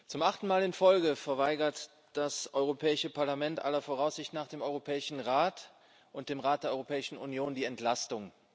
Zum achten Mal in Folge verweigert das Europäische Parlament aller Voraussicht nach dem Europäischen Rat und dem Rat der Europäischen Union die Entlastung.